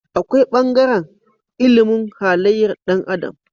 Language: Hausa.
Akwai bangaren ilimin halayyar Dan adam